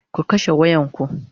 ku kashe wayan ku!